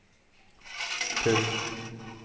pund